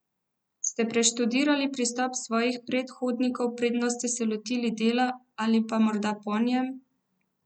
Ste preštudirali pristop svojih predhodnikov, preden se se lotili dela, ali pa morda po njem?